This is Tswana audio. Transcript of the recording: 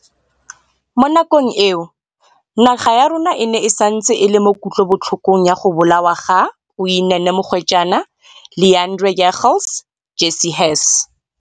Mo nakong eo, naga ya rona e ne e santse e le mo kutlobotlhokong ya go bolawa ga Uyinene Mrwetyana, Leighandre Jegels, Jesse Hess